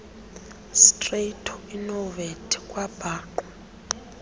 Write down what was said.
sitrato inomvete kwabhaqwa